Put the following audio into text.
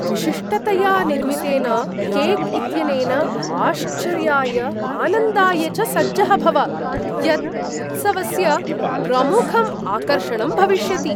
विशिष्टतया निर्मितेन केक् इत्यनेन आश्चर्याय, आनन्दाय च सज्जः भव, यत् उत्सवस्य प्रमुखं आकर्षणं भविष्यति।